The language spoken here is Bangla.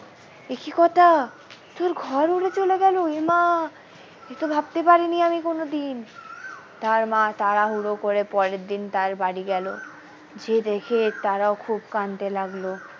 এ কি কথা তোর ঘর উড়ে চলে গেল এ মা এ তো ভাবতে পারিনি আমি কোনোদিন তার মা তাড়াহুড়ো করে পরের দিন তার বাড়ি গেল যে দেখে তারও খুব কাঁদতে লাগলো।